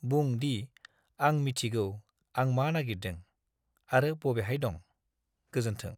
बुं दि, "आं मिथिगौ आं मा नागिरदों आरो बबेहाय दं, गोजोन्थों!"